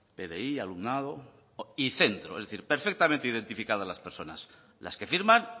pdi alumnado y centro es decir perfectamente identificadas las personas las que firman